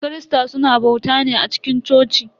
Kirista suna bauta ne a cikin coci.